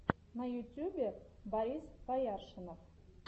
на ютюбе борис бояршинов